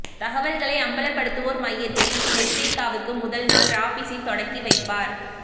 தகவல்களை அம்பலப்படுத்துவோர் மய்யத்தை மெர்தேக்காவுக்கு முதல் நாள் ராபிஸி தொடக்கி வைப்பார்